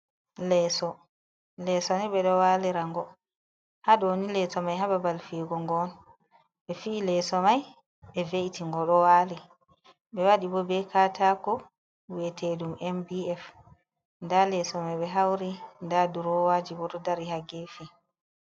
Leeso lesoni ɓe do walirango haɗoni leso mai hababal fego ngon ɓe fi leso mai ɓe veiti ngo ɗowali ɓe waɗi bo ɓe katako wi'etedum mbf nda leso mai ɓe hauri nda durowaji bo ɗo dari ha gefi.